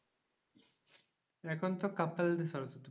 এখন তো couple দের সরস্বতী।